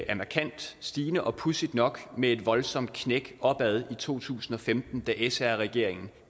er markant stigende og pudsigt nok med et voldsomt knæk opad i to tusind og femten da sr regeringen